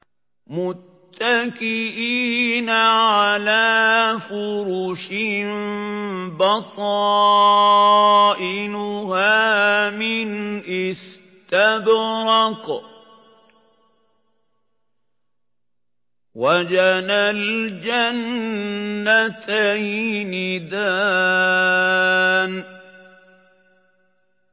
مُتَّكِئِينَ عَلَىٰ فُرُشٍ بَطَائِنُهَا مِنْ إِسْتَبْرَقٍ ۚ وَجَنَى الْجَنَّتَيْنِ دَانٍ